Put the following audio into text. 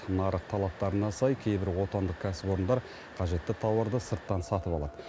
нарық талаптарына сай кейбір отандық кәсіпорындар қажетті тауарды сырттан сатып алады